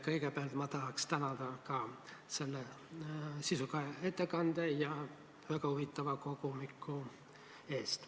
Kõigepealt tahaks ka tänada selle sisuka ettekande ja väga huvitava kogumiku eest.